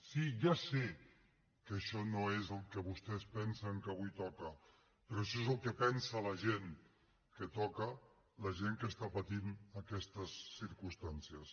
sí ja sé que això no és el que vostès pensen que avui toca però això és el que pensa la gent que toca la gent que està patint aquestes circumstàncies